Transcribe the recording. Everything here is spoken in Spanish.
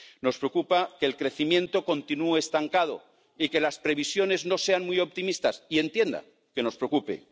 Nos preocupa que el crecimiento continúe estancado y que las previsiones no sean muy optimistas, y entienda que nos preocupe.